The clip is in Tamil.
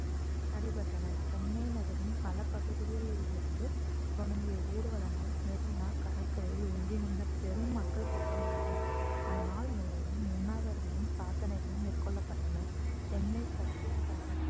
நடைபெற்றன சென்னை நகரின் பல பகுதிகளில் இருந்து தொடங்கிய ஊர்வலங்கள் மெரினா கடற்கரையில் ஒன்றிணைந்த பெரும் மக்கள் கூட்டமானது அந்நாள் முழுவதும் உண்ணாவிரதமும் பிரார்த்தனைகளும் மேற்கொள்ளப்பட்டன சென்னை சத்யாகிரக